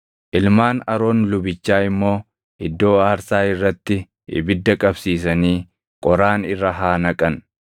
Ilmaan Aroon lubichaa immoo iddoo aarsaa irratti ibidda qabsiisanii qoraan irra haa naqan.